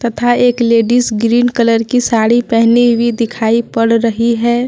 तथा एक ladies green colour की साड़ी पहनी हुई दिखाई पड़ रही है।